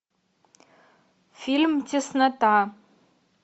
фильм теснота